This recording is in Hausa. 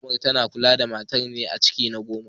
Unguwar zoman tana kula da matar nan me ciki na goma.